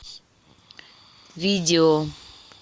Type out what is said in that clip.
видео